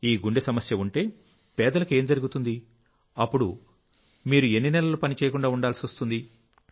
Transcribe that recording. ఈ గుండె సమస్య ఉంటే పేదలకు ఏం జరుగుతుంది అప్పుడు మీరు ఎన్ని నెలలు పని చేయకుండా ఉండాల్సి వస్తుంది